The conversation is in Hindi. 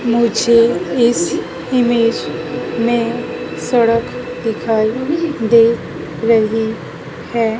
मुझे इस इमेज में सड़क दिखाई दे रही हैं।